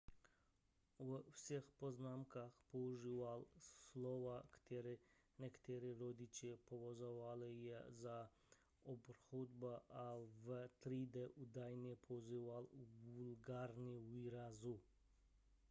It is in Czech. ve svých poznámkách používal slova která někteří rodiče považovali za obhroublá a ve třídě údajně používal vulgární výrazy